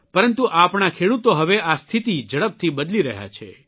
પરંતુ આપણા ખેડૂતો હવે આ સ્થિતિ ઝડપથી બદલી રહ્યા છે